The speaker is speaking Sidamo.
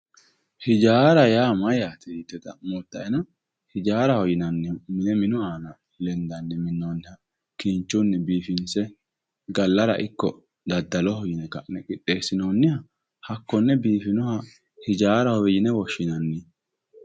Hijaara yaa mayyaate yite xa'moottaena hijaara yaa mine minu aana lendanni minnoonniha kinchunni biifinse gallara ikko dadda'linara qixxeessinoonniha hakkonne biifannoha hijaaraho yinewe woshshinanni.